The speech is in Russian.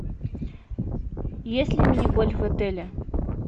есть ли мини гольф в отеле